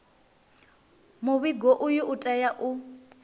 muvhigo uyu u tea u